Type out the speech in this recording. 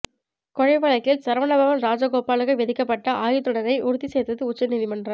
கொலை வழக்கில் சரவணபவன் ராஜகோபாலுக்கு விதிக்கப்பட்ட ஆயுள் தண்டனையை உறுதி செய்தது உச்சநீதிமன்றம்